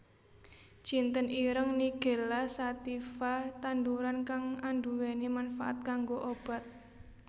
Jinten ireng nigella sativa tanduran kang anduwèni manfaat kanggo obat